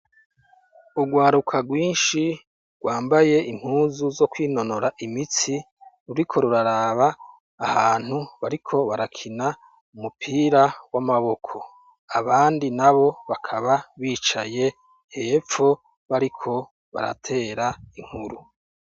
Urwaruka rwishi rwambaye impuzu zo kwinonora imitsi ruriko ruraraba ahantu bariko barakina umupira w'amaboko, abandi nabo bakaba bicaye hepfo bariko baratera inkuru.